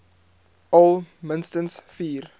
al minstens vier